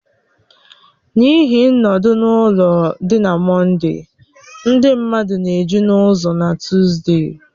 N'ihi nọdụ-na-ụlọ dị na Mọnde, ndị mmadụ na-eju n'ụzọ na Tuside